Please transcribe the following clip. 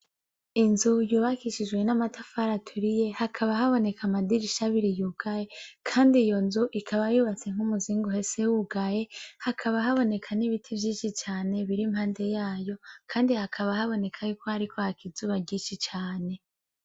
Inzu yubakishijwe n'amatafari aturiye hakaba haboneka amadirisha abiri yugaye kandi iyo nzu ikaba yubatse nk'umuzingi uhese wugaye hakaba haboneka n'ibiti vyishi cane biri impande yayo kandi hakaba haboneka yuko hariko haka izuba ryishi cane.